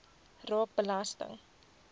raak belasting